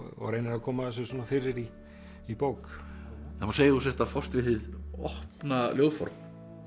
og reynir að koma þessu fyrir í í bók það má segja að þú sért að fást við hið opna ljóðform